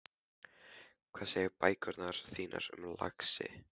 Hvað segja bækurnar þínar um það, lagsi?